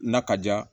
Na ka diya